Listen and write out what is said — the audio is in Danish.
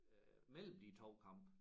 Øh mellem de 2 kampe